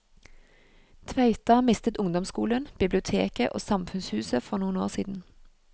Tveita mistet ungdomsskolen, biblioteket og samfunnshuset for noen år siden.